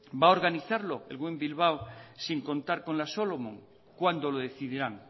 va a organizarlo el guggenheim bilbao sin contar con la solomon cuándo lo decidirán